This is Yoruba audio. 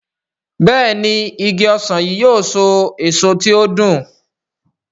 Béèni Ìgi ọsán yi yóò so èso tí o dùn.